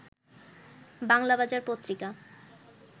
Banglabazar Patrika